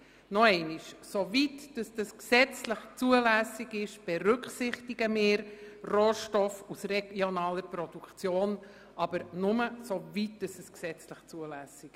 Nochmals: Soweit es gesetzlich zulässig ist, berücksichtigen wir Rohstoffe aus regionaler Produktion bereits, aber eben nur, soweit dies gesetzlich zulässig ist.